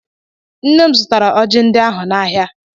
Nne m zụtara ọjị ndị ahụ n'ahịa.